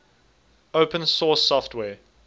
open source software